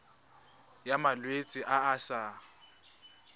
ya malwetse a a sa